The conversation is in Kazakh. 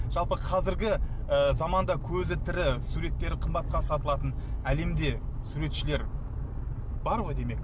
жалпы қазіргі і заманда көзі тірі суреттері қымбатқа сатылатын әлемде суретшілер бар ғой демек